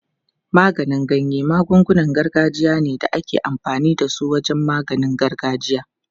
Maganin ganya magungunan gargajiya ne da ake amfani da su wajen maganin gargajiya.